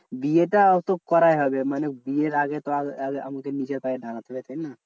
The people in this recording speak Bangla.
বিয়েটা তো করাই হবে মানে বিয়ের আগে তো আর আমাকে নিজের পায়ে দাঁড়াতে হবে না?